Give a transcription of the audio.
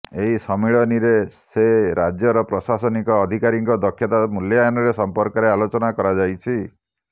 ଏହି ସମ୍ମିଳନୀରେ ସେ ରାଜ୍ୟର ପ୍ରଶାସନିକ ଅଧିକାରୀଙ୍କ ଦକ୍ଷତା ମୂଲ୍ୟାୟନ ସମ୍ପର୍କରେ ଆଲୋଚନା କରାଯାଇଛି